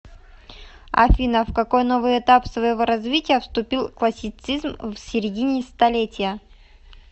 афина в какой новый этап своего развития вступил классицизм в середине столетия